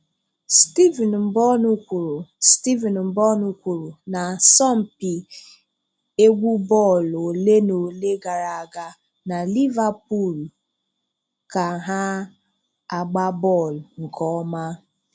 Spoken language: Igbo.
Stephen Mbonụ kwuru Stephen Mbonụ kwuru n'asompi egwú bọọlụ ole na ole gara aga, na Liverpool ka ha agba bọọlụ nke ọma..